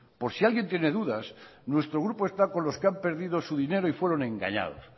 por si alguien tiene dudas nuestro grupo está con los que han perdido su dinero y fueron engañados